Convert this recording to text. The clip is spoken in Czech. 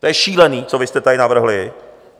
To je šílené, co vy jste tady navrhli.